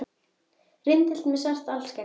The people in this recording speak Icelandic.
Rindill með svart alskegg